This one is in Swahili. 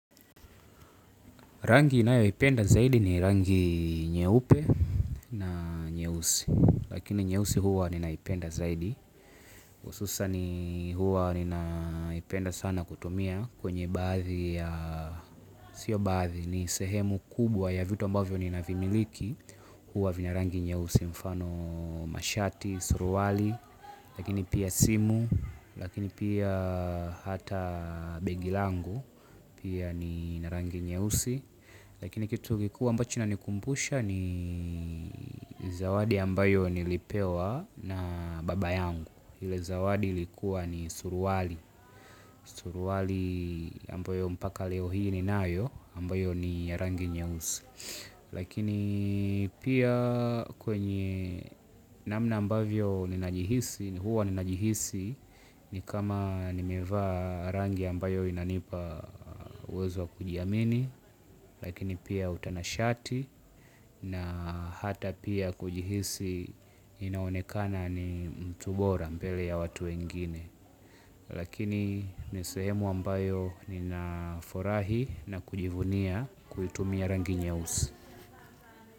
Rangi inayoipenda zaidi ni rangi nyeupe na nyeusi, lakini nyeusi huwa ninaipenda zaidi. Ususani huwa ninaipenda sana kutumia kwenye baathi ya, sio baathi ni sehemu kubwa ya vitu ambavyo ninavimiliki. Huwa vina rangi nyeusi mfano mashati, suruali, lakini pia simu, lakini pia hata begi langu. Pia ni na rangi nyeusi. Lakini kitu kikuu ambacho inanikumbusha ni zawadi ambayo nilipewa na baba yangu ile zawadi likuwa ni suruali. Suruali ambayo mpaka leo hii ninayo ambayo ni ya rangi nyeusi. Lakini pia kwenye namna ambavyo ninajihisi huwa ninajihisi ni kama nimevaa rangi ambayo inanipa uwezo wa kujiamini. Lakini pia utanashati na hata pia kujihisi inaonekana ni mtu bora mbele ya watu wengine. Lakini ni sehemu ambayo ninafurahi na kujivunia kuitumia rangi nyeusi.